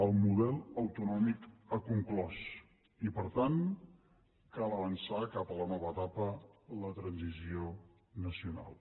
el model autonòmic ha conclòs i per tant cal avançar cap a la nova etapa la transició nacional